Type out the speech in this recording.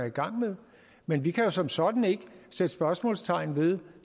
i gang med men vi kan som sådan ikke sætte spørgsmålstegn ved